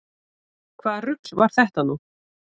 Hvaða rugl var þetta nú?